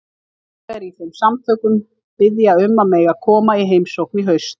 Félagar í þeim samtökum biðja um að mega koma í heimsókn í haust.